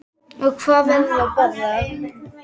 Og hvað verður að borða?